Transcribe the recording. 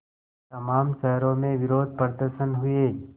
तमाम शहरों में विरोधप्रदर्शन हुए